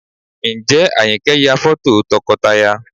Ǹjẹ́ Àyìnkẹ́ ń ya fọ́tò tọkọtaya?